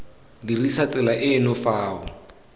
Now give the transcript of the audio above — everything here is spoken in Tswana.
dirisa tsela eno fa o